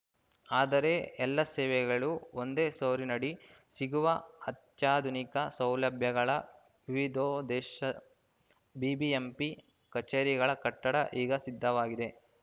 ಆದರೆ ಎಲ್ಲಾ ಸೇವೆಗಳು ಒಂದೇ ಸೊರಿನಡಿ ಸಿಗುವ ಅತ್ಯಾಧುನಿಕ ಸೌಲಭ್ಯಗಳ ವಿವಿಧೋದ್ದೇಶ ಬಿಬಿಎಂಪಿ ಕಚೇರಿಗಳ ಕಟ್ಟಡ ಈಗ ಸಿದ್ಧವಾಗಿದೆ